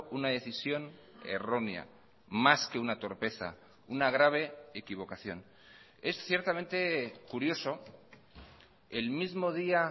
una decisión errónea más que una torpeza una grave equivocación es ciertamente curioso el mismo día